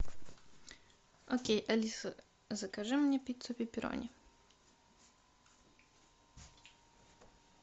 окей алиса закажи мне пиццу пепперони